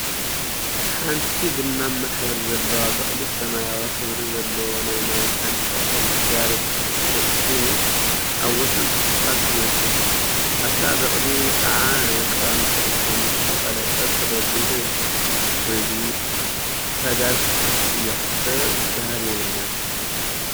ሓንቲ ቡናማ ሕብሪ ዘለዋ በቅሊ ሰማያዊ ሕብሪ ዘለዎ ናይ ማይ ታንከር አብ ጋሪ ተፃዒኑ አብ ወሰን እስፓልት ይርከብ፡፡ አብታ በቅሊ ከዓ ናይ ቀላሚጦስ ኦም ዝተቀለጠ ተደርዲሩ ይርከብ፡፡ ወይጉድ! እታ ጋሪ ክትጠፍእ እያ፡፡ ሰብ ዝበሃል የብላን፡፡